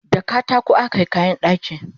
da katako akayi kayan ɗaki